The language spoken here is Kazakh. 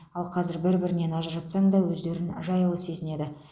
ал қазір бір бірінен ажыратсаң да өздерін жайлы сезінеді